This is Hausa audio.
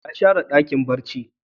Wa ya share Dakin barci da sage?